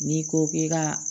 N'i ko k'i ka